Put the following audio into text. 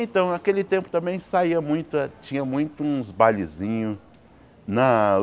Então, naquele tempo também saia muito eh, tinha muito uns bailezinhos na.